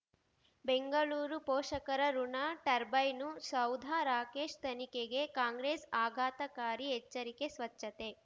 ಬೆಂಗಳೂರು ಪೋಷಕರಋಣ ಟರ್ಬೈನು ಸೌಧ ರಾಕೇಶ್ ತನಿಖೆಗೆ ಕಾಂಗ್ರೆಸ್ ಆಘಾತಕಾರಿ ಎಚ್ಚರಿಕೆ ಸ್ವಚ್ಛತೆ